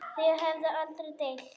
Þau höfðu aldrei deilt.